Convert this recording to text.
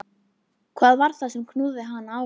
Hvað var það sem knúði hana áfram?